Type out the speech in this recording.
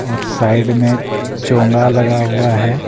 और साइड में चोंगा लगा हुआ है।